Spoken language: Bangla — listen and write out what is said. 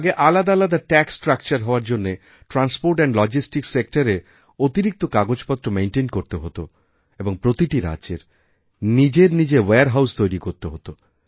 আগে আলাদা আলাদা ট্যাক্স স্ট্রাকচার হওয়ার জন্য ট্রান্সপোর্ট এন্ড লজিস্টিক্স সেক্টর এ অতিরিক্ত কাগজপত্র মেইনটেইন করতে হত এবং প্রতিটি রাজ্যের নিজের নিজের ওয়েয়ারহাউস তৈরি করতে হত